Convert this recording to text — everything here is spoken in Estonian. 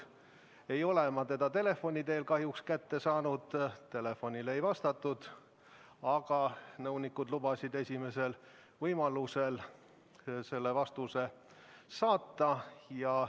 Ma ei ole teda telefoni teel kahjuks kätte saanud, telefonile ei vastatud, aga nõunikud lubasid esimesel võimalusel vastuse saata.